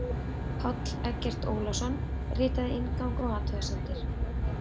Páll Eggert Ólason ritaði inngang og athugasemdir.